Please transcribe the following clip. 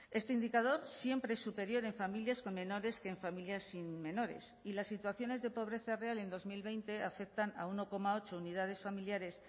este indicador siempre es superior en familias con menores que en familias sin menores y las situaciones de pobreza real en dos mil veinte afectan a uno coma ocho unidades familiares